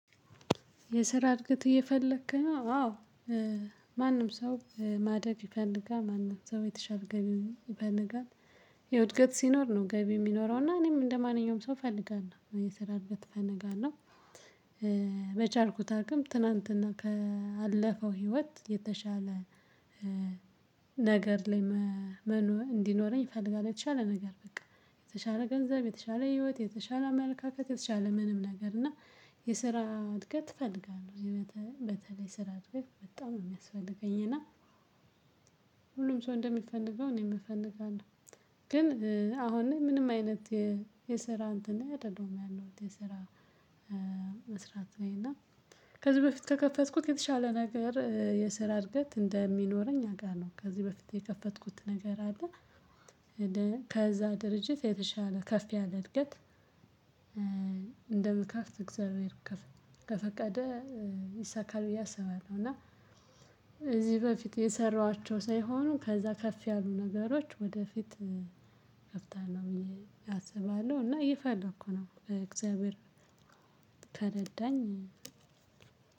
የስራ እድገት እየፈለክ ነው? አዎ ማንም ሰው ማደግ ይፈልጋል ማንም ሰው የተሻለ ገቢ ይፈልጋለ። የእድገት ሲኖር ነው ገቢ የሚኖረው እና እኔም እንደማንኛውም ሰው እፈልጋለሁ የምሰራበት እፈልጋለሁ። በቻልኩት አቅም ትናንትና ካለፈው ህይወት የተሻለ። ነገር ላይ እንዲኖረኝ ይፈልጋል የተሻለ ነገር በቃ የተሻለ ገንዘብ የተሻለ ህይወት የተሻለ አመለካከት የተሻለ ምንም ነገር። እና የስራ እድገት እፈልጋለሁ። በተለይ ስራ እድገት በጣም የሚያስፈልገኝ እና። ሁሉም ሰው እንደሚፈልገው እኔ የምፈነጋለሁ። ግን አሁን ምንም አይነት የስራ እንትን አይደለሁም ያለሁት የስራ መስራት ነው። እና ከዚህ በፊት ከከፈትኩት የተሻለ ነገር የስራ እድገት እንደሚኖረኝ አቃለሁ። ከዚህ በፊት የከፈትኩት ነገር አለ። ከዛ ድርጅት የተሻለ ከፍ ያለ እድገት እንደ መከፍት እግዚአብሔር ከፈቀደ ይሳካል ብዬ አስባለሁ። እና እዚህ በፊት የሰራኋቸው ሳይሆኑ ከዛ ከፍ ያሉ ነገሮች ወደፊት ከፍታለሁ አስባለሁ። እና ይፈልግ እኮ ነው እግዚአብሔር ከረዳኝ